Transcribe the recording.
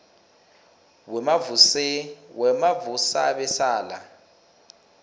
wemavusabesala